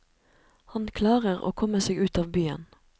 Han klarer å komme seg ut av byen.